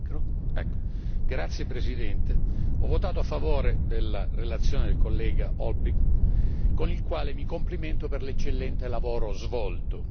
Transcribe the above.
Signor Presidente, ho votato a favore della relazione del collega Olbrycht, con il quale mi complimento per l'eccellente lavoro svolto.